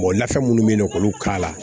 lafɛn minnu bɛ yen nɔ k'olu k'a la